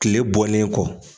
Tile bɔlen kɔ